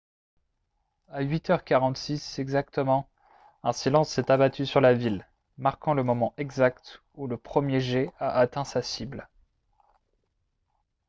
à 8 h 46 exactement un silence s'est abattu sur la ville marquant le moment exact où le premier jet a atteint sa cible